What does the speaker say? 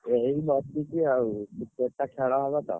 ଏଇ ବସିଛି ଆଉ Cricket ଟା ଖେଳ ହବ ତ।